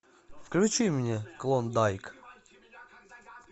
включи мне клондайк